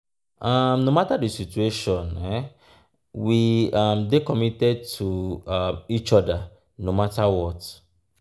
um no matter di situation we um dey committed to um each other no matter what.